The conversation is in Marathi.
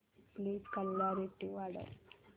प्लीज क्ल्यारीटी वाढव